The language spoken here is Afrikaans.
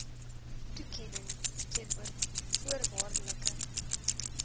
toekenning teenoor voorwaardelike